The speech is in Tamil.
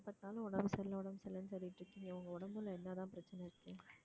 எப்ப பார்த்தாலும் உடம்பு சரியில்லை உடம்பு சரியில்லைன்னு சொல்லிட்டு இருக்கீங்க உங்க உடம்புல என்னதான் பிரச்சனை இருக்கு